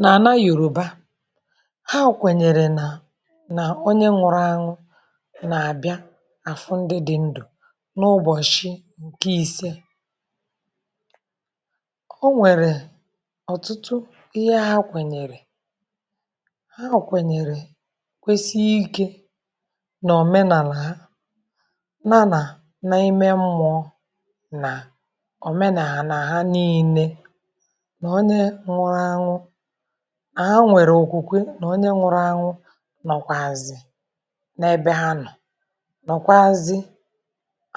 N'ana Yoruba, ha kwènyèrè nà nà onye nwụrụ anwụ nà-àbịa àfụ ndị dị ndụ n’ụbọshị ǹkè ìse; o nwèrè ọ̀tụtụ ihe ha kwènyèrè. Ha kwènyèrè kwesie ike nà òmenàlà ha nà nà n’ime mmụọ nà òmenàlà ha niile; nà onye nwụrụ anwụ na ha nwèrè òkwùkwe nà onye nwụrụ anwụ nọkwàzì n’ebe ha nọ nọkwazi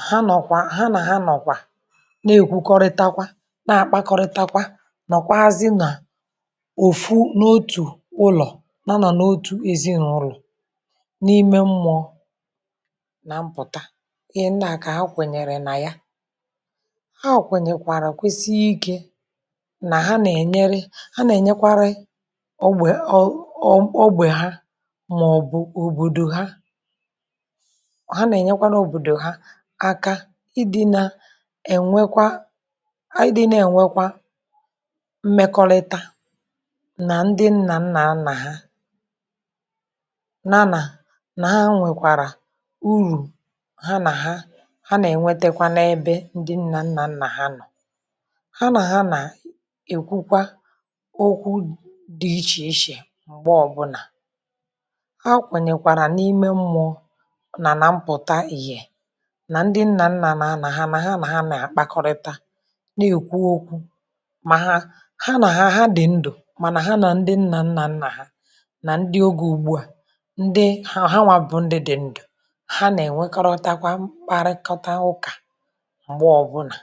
ha nọkwa, ha nà ha nọkwa na-èkwukọrịtakwa na-àkpakọrịtakwa, nọkwaazị nà òfu n’otù ụlọ nọ nọ n’otù ezinaụlọ n’ime mmụọ nà mpụta, ihe ndị à kà ha kwènyèrè nà ya; ha kwènyèkwàrà kwesie ike, nà ha na-ènyere, ha nà-ènyekwari ọgbe ọ ọ ọ ọgbe ha mà ọ bù òbòdò ha; ha nà-ènyekwara òbòdò ha aka ị dị nà ènwekwa, ị dị nà ènwekwa mmèkọlịta nà ndị nnà nnà nna ha nà nà nà ha nwèkwàrà urù ha nà ha, ha nà ènwetekwa n’ebe ndị nnà nnà nnà ha nọ ha nà ha nà èkwukwa okwu dị iche iche m̀gbè ọbụnà, ha kwènyèkwàrà n’ime mmụọ nà nà mpụta ìhè nà ndị nnà nnà nà nà ha nà ha nà ha nà-àkpakọrịta nà èkwu okwụ mà ha ha nà hà dị ndụ mànà ha nà ndị nnà nnà nnà hà, na ndị ogè ùgbuà, ndị ha ha nwa bụ ndụ dị ndụ. Ha nà ènwekọrọtakwa mkparịkọta ụkà m̀gbè ọbụnà,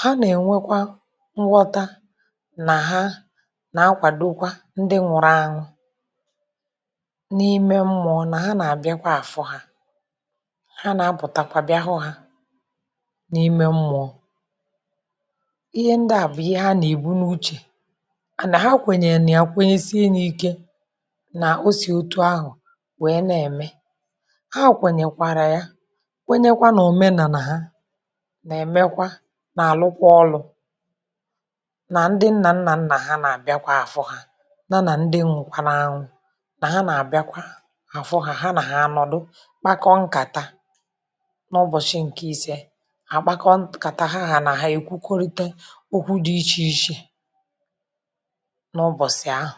ha nà ènwekwa nghọta nà ha nà akwàdokwa ndị nwụrụ anwụ n’ime mmụọ nà ha nà àbịakwa àfụ ha; ha nà apụtakwà bia hụ ha n’ime mmụọ. Ihe ndị à bụ ihe ha nà-ègbu n’uche à nà ha kwènyèrè nà ya kwenyesienyi ike nà o sì otu ahụ wèe nà-èmè ha kwènyèkwàrà ya; kwenyekwa nà òmenàlà ya nà èmekwa, nà àlụkwa ọlụ, nà ndị nna nna nna ha nà àbịakwa àfụ ha nà na ndi nwụkwara anwụ, nà ha na àbịakwa àfụ ha, ha na ha nọdụ kpakọ nkàta n’ụbọshị ǹkè ise hà kpakọ nkàta, ha nà ha èkwukọrita okwụ dị iche iche n'ụbọshị ahụ.